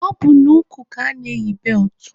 Ọ bụ n'ukwu ka ana-eyi beltụ